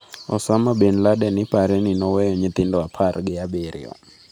Osama bin Laden ipare ni noweyo nyithindo apar gi abiro.